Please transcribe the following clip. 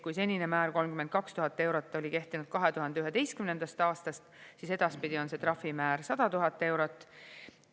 Kui senine määr 32 000 eurot oli kehtinud 2011. aastast, siis edaspidi on see trahvimäär 100 000 eurot.